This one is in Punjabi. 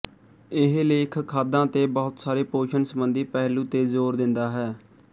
ਇਹ ਲੇਖ ਖਾਦਾਂ ਤੇ ਬਹੁਤ ਸਾਰੇ ਪੋਸ਼ਣ ਸੰਬੰਧੀ ਪਹਿਲੂ ਤੇ ਜ਼ੋਰ ਦਿੰਦਾ ਹੈ